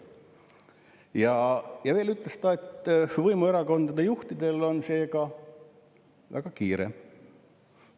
" Ja veel ütles ta, et võimuerakondade juhtidel on seega väga kiire.